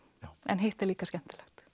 en hitt er líka skemmtilegt